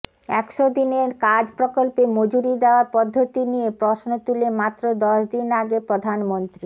একশো দিনের কাজ প্রকল্পে মজুরি দেওয়ার পদ্ধতি নিয়ে প্রশ্ন তুলে মাত্র দশ দিন আগে প্রধানমন্ত্রী